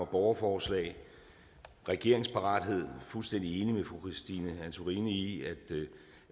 borgerforslag og regeringsparathed fuldstændig enig med fru christine antorini i